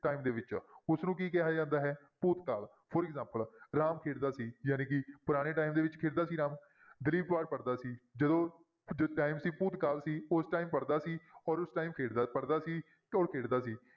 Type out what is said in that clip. Time ਦੇ ਵਿੱਚ ਉਸਨੂੰ ਕੀ ਕਿਹਾ ਜਾਂਦਾ ਹੈ ਭੂਤਕਾਲ for example ਰਾਮ ਖੇਡਦਾ ਸੀ, ਜਾਣੀਕਿ ਪੁਰਾਣੇ time ਵਿੱਚ ਖੇਡਦਾ ਸੀ ਰਾਮ ਦਲੀਪ ਅਖ਼ਬਾਰ ਪੜ੍ਹਦਾ ਸੀ ਜਦੋਂ, ਜਦੋਂ time ਸੀ ਭੂਤਕਾਲ ਸੀ ਉਸ time ਪੜ੍ਹਦਾ ਸੀ ਔਰ ਉਸ time ਖੇਡਦਾ ਪੜ੍ਹਦਾ ਸੀ ਖੇਡਦਾ ਸੀ।